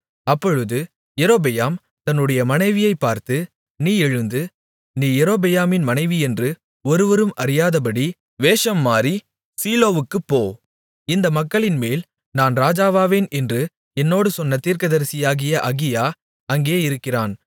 அப்பொழுது யெரொபெயாம் தன்னுடைய மனைவியைப் பார்த்து நீ எழுந்து நீ யெரொபெயாமின் மனைவியென்று ஒருவரும் அறியாதபடி வேஷம் மாறி சீலோவுக்குப் போ இந்த மக்களின்மேல் நான் ராஜாவாவேன் என்று என்னோடு சொன்ன தீர்க்கதரிசியாகிய அகியா அங்கே இருக்கிறான்